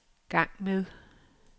gang med